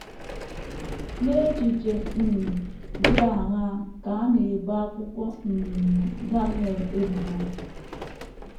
N’echiche um dị aṅaa ka a na - ebo akwụkwọ um Daniel ebubo?